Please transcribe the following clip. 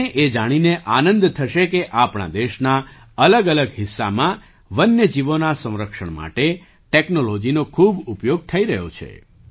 તમને એ જાણીને આનંદ થશે કે આપણા દેશના અલગઅલગ હિસ્સામાં વન્ય જીવોના સંરક્ષણ માટે ટૅક્નૉલૉજીનો ખૂબ ઉપયોગ થઈ રહ્યો છે